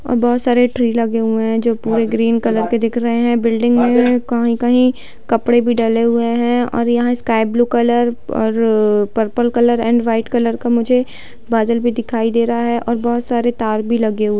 और बहुत सारे ट्री लगे हुए हैं जो कि ग्रीन कलर के दिख रहे है बिल्डिंग में कहीं-कहीं कपड़े भी डले हुए हैं और यहाँ स्काई ब्लू कलर और पर्पल एंड वाइट कलर का मुझे बादल भी दिखाई दे रहा है और बहुत सारे तार भी लगे हुए --